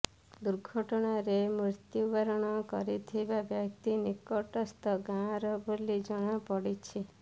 ଦୁର୍ଘଟଣାରେ ମୃତ୍ୟୁବରଣ କରିଥିବା ବ୍ୟକ୍ତି ନିକଟସ୍ଥ ଗାଁର ବୋଲି ଜଣାପଡିଛି